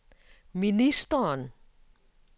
ministeren